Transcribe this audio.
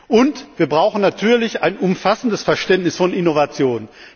Und wir brauchen natürlich ein umfassendes Verständnis von Innovation.